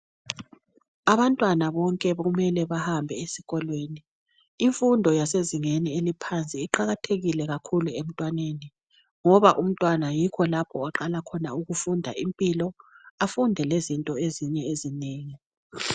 Abantwana bonke kumele bahambe esikolweni imfundo yasezingeni eliphansi iqakathekile kakhulu emntwaneni ngoba umntwana yikho lapha oqala khona ukufunda impilo afunde lezinto ezinye ezinengi.